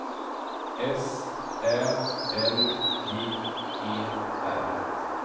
S Ä L J E R